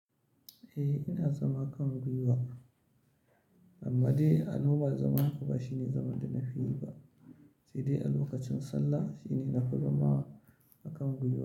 Eh ina zaman kan gwiwa amma dai a nan ba zama haka ba shine zaman da na fi yi ba, sai dai a lokacin sallah shine na fi zama akan gwiwa.